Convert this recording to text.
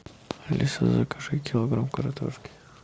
алиса закажи килограмм картошки